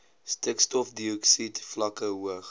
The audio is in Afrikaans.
stikstofdioksied vlakke hoog